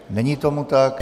Není tomu tak.